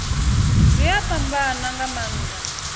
zwi a fhambana nga maanḓa